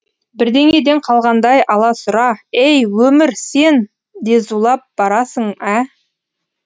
бірдеңеден қалғандай аласұра ей өмір сен де зулап барасың ә